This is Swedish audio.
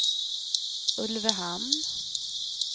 Ulvöhamn